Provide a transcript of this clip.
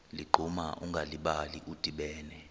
ligquma ungalibali udibene